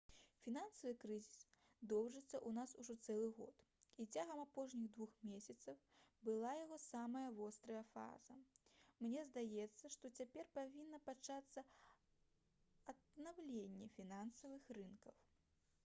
«фінансавы крызіс доўжыцца ў нас ужо цэлы год і цягам апошніх двух месяцаў была яго самая вострая фаза. мне здаецца што цяпер павінна пачацца аднаўленне фінансавых рынкаў»